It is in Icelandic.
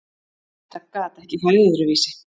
Þetta gat ekki farið öðruvísi.